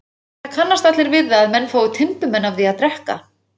Það kannast allir við það að menn fá timburmenn af því að drekka.